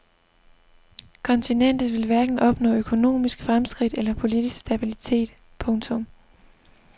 Kontinentet vil hverken opnå økonomisk fremskridt eller politisk stabilitet. punktum